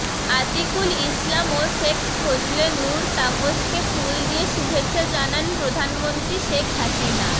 আতিকুল ইসলাম ও শেখ ফজলে নূর তাপসকে ফুল দিয়ে শুভেচ্ছা জানান প্রধানমন্ত্রী শেখ হাসিনা